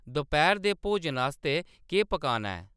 दपैह्‌‌र दे भोजन आस्तै केह्‌‌ पकाना ऐ